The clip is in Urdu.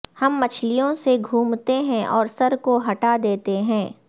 ہم مچھلیوں سے گھومتے ہیں اور سر کو ہٹا دیتے ہیں